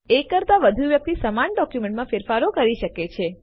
એક કરતાં વધુ વ્યક્તિ સમાન ડોક્યુમેન્ટમાં ફેરફારો કરી શકે છે